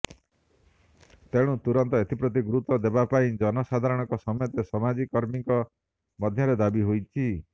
ତେଣୁ ତୁରନ୍ତ ଏଥିପ୍ରତି ଗୁରୁତ୍ୱ ଦେବା ପାଇଁ ଜନ ସାଧାରଣଙ୍କ ସମେତ ସାମାଜି କର୍ମୀଙ୍କ ମଧ୍ୟରେ ଦାବୀ ହେଉଛି